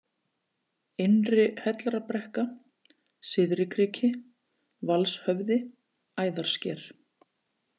Innri-Hellrabrekka, Syðri-Kriki, Valshöfði, Æðarsker